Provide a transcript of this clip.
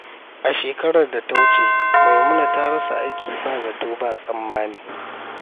A shekarar da ta wuce, Maimuna ta rasa aiki ba zato ba tsammani.